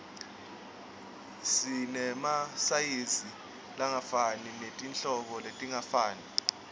sinemasayizi langefani netinhlobo letingafani